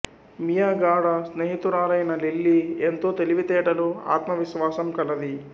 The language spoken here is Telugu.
మియా గాఢ స్నేహితురాలైన లిల్లీ ఎంతో తెలివితేటలు ఆత్మవిశ్వాసం కలది